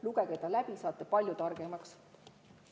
Lugege see läbi, saate palju targemaks.